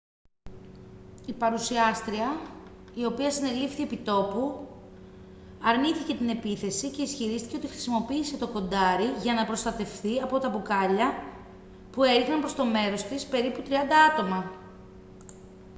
η παρουσιάστρια η οποία συνελήφθη επί τόπου αρνήθηκε την επίθεση και ισχυρίστηκε ότι χρησιμοποίησε το κοντάρι για να προστατευθεί από μπουκάλια που έριχναν προς το μέρος της περίπου τριάντα άτομα